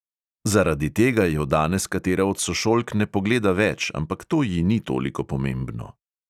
Zaradi tega jo danes katera od sošolk ne pogleda več, ampak to ji ni toliko pomembno.